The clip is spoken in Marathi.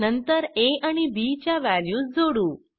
नंतर आ आणि बी च्या वॅल्यूज जोडू